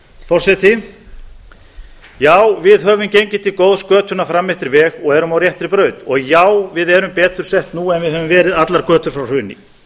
forseti já við höfum gengið til góðs götuna fram eftir veg og erum á réttri braut já við erum betur sett nú en við höfum verið allar götur frá hruni